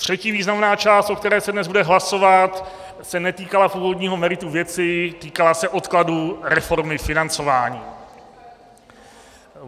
Třetí významná část, o které se dnes bude hlasovat, se netýkala původního merita věci, týkala se odkladu reformy financování.